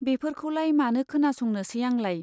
बेफोरखौलाय मानो खोनासंनोसै आंलाय।